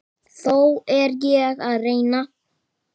Þó er ég að reyna!